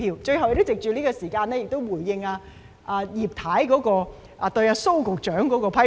藉最後的時間，我想回應葉太對蘇局長的批評。